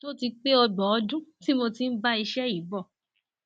ó ti pé ọgbọn ọdún tí mo ti ń bá iṣẹ yìí bọ